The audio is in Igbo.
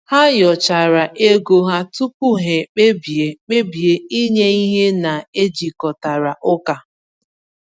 Ha nyochachara ego ha tupu ha kpebie kpebie inye ihe na-ejikọtara ụka.